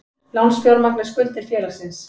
Lánsfjármagn er skuldir félagsins.